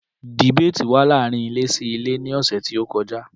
Dìbéètì wà láàárín ilé sí ilé ní ọ̀sẹ̀ tí ó kọjá